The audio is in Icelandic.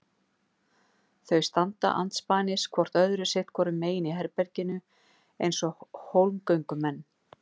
Þau standa andspænis hvort öðru sitt hvoru megin í herberginu eins og hólmgöngumenn.